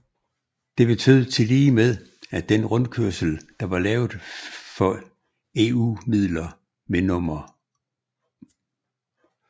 Det betød tilligemed at den rundkørsel der var lavet for EU midler ved nr